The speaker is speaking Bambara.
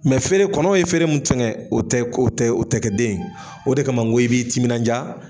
feere kɔnɔw ye feere min tiŋɛ o tɛ k'o tɛ o tɛ kɛ den ye. o de kama n ko i b'i timinandiya